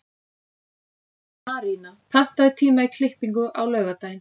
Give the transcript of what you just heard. Arína, pantaðu tíma í klippingu á laugardaginn.